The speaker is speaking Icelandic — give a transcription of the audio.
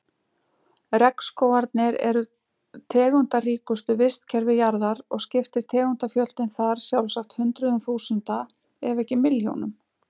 Regnskógarnir eru tegundaríkustu vistkerfi jarðar og skiptir tegundafjöldinn þar sjálfsagt hundruðum þúsunda ef ekki milljónum.